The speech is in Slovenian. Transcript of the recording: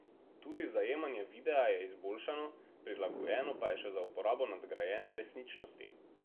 Tudi zajemanje videa je izboljšano, prilagojeno pa je še za uporabo nadgrajene resničnosti.